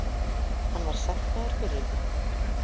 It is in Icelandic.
Hann verður sektaður fyrir þetta.